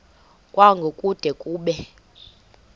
kwango kude kube